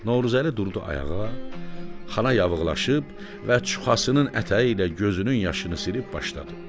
Novruzəli durdu ayağa, xana yağılaşıb və çuxasının ətəyi ilə gözünün yaşını silib başladı.